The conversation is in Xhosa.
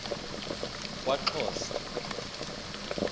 kwaxhosa